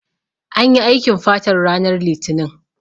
Anyi aikin fatar ranar litinin